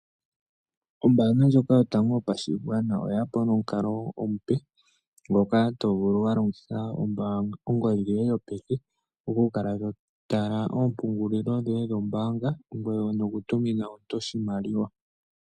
Ombanga ndyoka yopashigwana oyeya nomukalo omupe ngoka tovulu walongitha ongodhi yoye yopeke okukala to tala oompungulilo dhoye dhombanga ngoye nokutumina omuntu oshimaliwa.